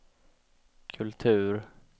kultur